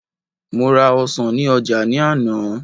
mo ra ọsàn ni oja ni àná